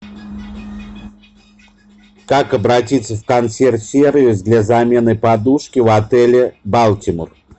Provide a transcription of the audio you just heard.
как обратиться в консьерж сервис для замены подушки в отеле балтимор